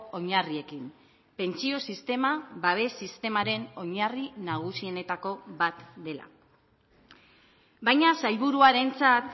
oinarriekin pentsio sistema babes sistemaren oinarri nagusienetako bat dela baina sailburuarentzat